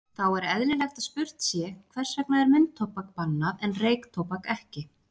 Þá er eðlilegt að spurt sé, hvers vegna er munntóbak bannað en reyktóbak ekki?